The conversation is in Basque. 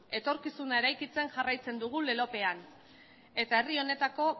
etorkizuna eraikitzen jarraitzen dugu lelopean eta herri honetako